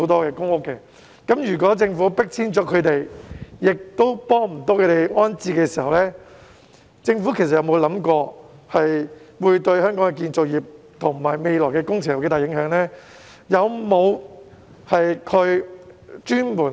如果政府將他們迫遷，但卻沒有協助安置他們，政府曾否想過會對香港的建造業及未來的工程有多大影響呢？